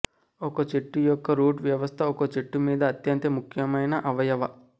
ఒక చెట్టు యొక్క రూట్ వ్యవస్థ ఒక చెట్టు మీద అత్యంత ముఖ్యమైన అవయవ